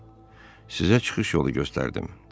Sizə çıxış yolu göstərdim.